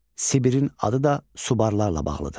Sibirin adı da Subarlarla bağlıdır.